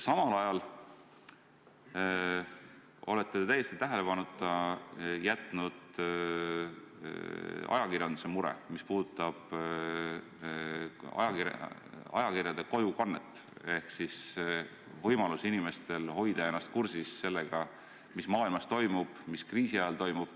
Samal ajal olete täiesti tähelepanuta jätnud ajakirjanduse mure, mis puudutab kojukannet, ehk siis inimeste võimalust hoida ennast kursis, mis maailmas toimub, mis kriisi ajal toimub.